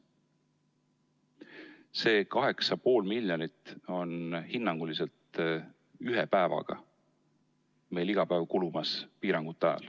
Aga see 8,5 miljonit kulub meil hinnanguliselt iga päev, kui kehtivad piirangud.